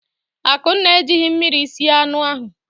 Akunna ejighị mmiri sie anụ ahụ.